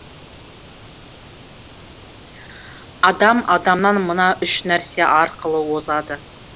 адам адамнан мына үш нәрсе арқылы озады